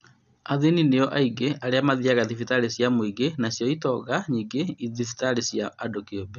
Athĩni nĩo aingĩ arĩa mathiaga thibitarĩ cia mũingĩ nacio itonga nyingĩ nĩ thibitarĩ cia andũ kĩũmbe